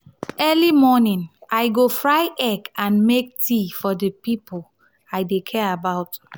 early morning i go fry egg and make tea for di people i dey care about.